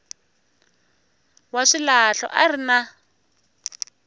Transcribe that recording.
wa swilahlo a ri na